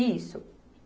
Isso.